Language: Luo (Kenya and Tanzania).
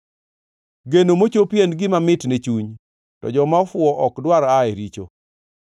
Geno mochopi en gima mit ne chuny, to joma ofuwo ok dwar aa e richo.